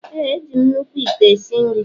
Ee, eji m nnukwu ite esi nri.